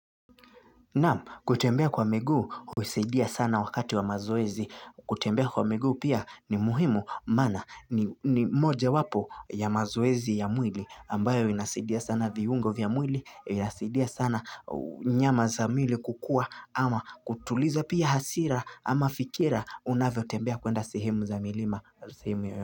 Nam kutembea kwa miguu husaidia sana wakati wa mazoezi kutembea kwa miguu pia ni muhimu maana ni moja wapo ya mazoezi ya mwili ambayo inasaidia sana viungo vya mwili inasaidia sana nyama za mwili kukua ama kutuliza pia hasira ama fikira unavyotembea kwenda sehemu za milima.